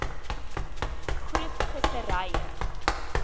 groep visserye